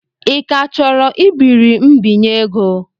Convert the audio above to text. Ị ka chọrọ ibiri mbinye ego?